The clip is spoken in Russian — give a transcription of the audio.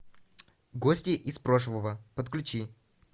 гости из прошлого подключи